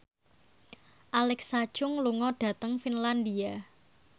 Alexa Chung lunga dhateng Finlandia